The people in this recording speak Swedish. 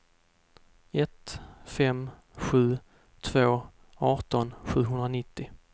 ett fem sju två arton sjuhundranittio